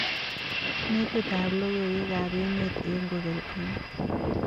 Metitab logoywekab emet eng kogel ko ne?